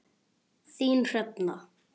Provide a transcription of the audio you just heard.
Þín Hrefna.